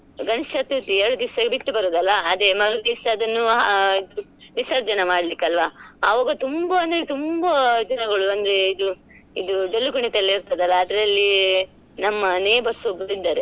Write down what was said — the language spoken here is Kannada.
ಗಣೇಶ ಚತುರ್ಥಿ ಎರ್ಡ್ದಿವ್ಸ ಬಿಟ್ಟು ಬರೋದ್ ಅಲ್ಲ ಅದೇ ಮರುದಿವಸ ಅದನ್ನು ಆ ವಿಸರ್ಜನೆ ಮಾಡ್ಲಿಕ್ಕೆ ಅಲ್ಲ ಆವಾಗ ತುಂಬಾ ಅಂದ್ರೆ ತುಂಬಾ ದಿನಗಳು ಅಂದ್ರೆ ಇದು ಇದು ಡೊಳ್ಳು ಕುಣಿತ ಎಲ್ಲ ಇರ್ತದಲ್ಲ ಅದ್ರಲ್ಲಿ ನಮ್ಮ neighbours ಒಬ್ರು ಇದ್ದಾರೆ.